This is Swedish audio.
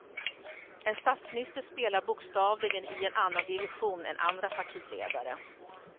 En statsminister spelar bokstavligen i en annan division än andra partiledare.